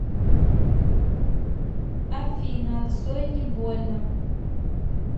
афина цой не больно